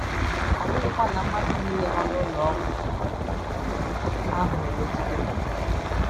Ọ bụghị kwa na mmadụ nile nọ n’ụlọ ọgwụ ahụ na - emegide m.